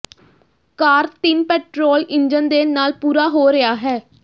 ਕਾਰ ਤਿੰਨ petrol engine ਦੇ ਨਾਲ ਪੂਰਾ ਹੋ ਰਿਹਾ ਹੈ